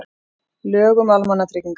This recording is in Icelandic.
Lög um almannatryggingar.